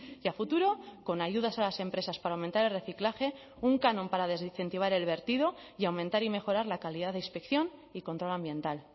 y a futuro con ayudas a las empresas para aumentar el reciclaje un canon para desincentivar el vertido y aumentar y mejorar la calidad de inspección y control ambiental